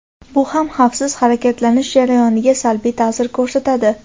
Bu ham xavfsiz harakatlanish jarayoniga salbiy ta’sir ko‘rsatadi.